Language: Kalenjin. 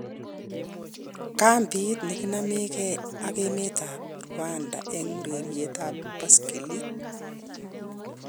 Kambit nekinamegei ak emet ab Rwanda en urerietab baskilit